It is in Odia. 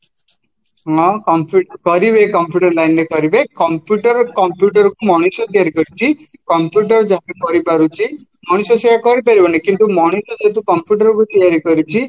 ହଁ କରିବେ computer lineରେ କରିବେ computer computerକୁ ମଣିଷ ତିଆରି କରିଛି computer ଜଣେ ତିଆରି କରିପାରୁଛି ମଣିଷ ସେଇୟା କରିପାରିବନି କିନ୍ତୁ ମଣିଷ ଯେହେତୁ computerକୁ ତିଆରି କରିଛି